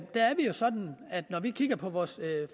sådan at når vi kigger på vores